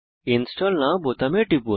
install now বোতামে টিপুন